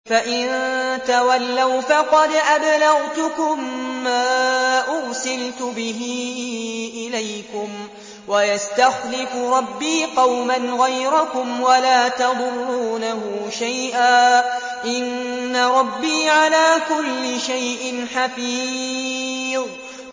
فَإِن تَوَلَّوْا فَقَدْ أَبْلَغْتُكُم مَّا أُرْسِلْتُ بِهِ إِلَيْكُمْ ۚ وَيَسْتَخْلِفُ رَبِّي قَوْمًا غَيْرَكُمْ وَلَا تَضُرُّونَهُ شَيْئًا ۚ إِنَّ رَبِّي عَلَىٰ كُلِّ شَيْءٍ حَفِيظٌ